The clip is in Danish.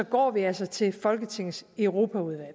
går vi altså til folketingets europaudvalg